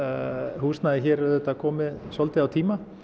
húsnæðið hér er auðvitað komið svolítið á tíma